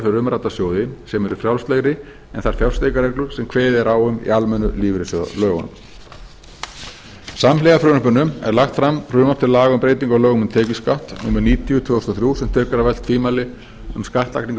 umrædda sjóði sem eru frjálslegri en þær fjárfestingarreglur sem kveðið er á um í almennu lífeyrissjóðalögunum samhliða frumvarpinu er lagt fram frumvarp til laga um breyting á lögum um tekjuskatt númer níutíu tvö þúsund og þrjú sem tekur af öll tvímæli um skattlagningu